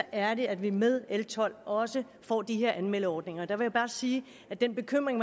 er det at vi med l tolv også får de her anmeldeordninger jeg vil bare sige til den bekymring